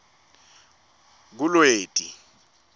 kulweti